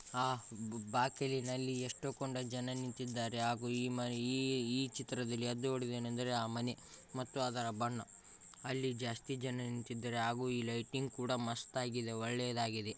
ಆ ಬ-ಬಾಕಲಿನಲ್ಲಿಎಷ್ಟು ಕೊಂಡ ಜನ ನಿಂತಿದ್ದಾರೆ ಹಾಗೂ ಈ ಮನ್ ಈ-ಈ ಚಿತ್ರದಲ್ಲಿ ಎದ್ದು ಹೊಡಿಯುವುದೆನೆಂದರೆ ಆ ಮನೆ ಮತ್ತು ಅದರ ಬಣ್ಣ. ಅಲ್ಲಿ ಜಾಸ್ತಿ ಜನ ನಿಂತಿದ್ದಾರೆ ಹಾಗೂ ಈ ಲೈಟಿಂಗ್ ಕೂಡ ಮಸ್ತ್ ಆಗಿದೆ ಮತ್ತು ಒಳ್ಳೆಯದ್ದಾಗಿದೆ .